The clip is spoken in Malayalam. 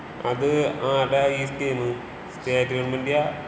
അത് ആരടെയാ ഈ സ്കീം? സ്റ്റേറ്റ് ഗവണ്മെന്റിന്റെയാ?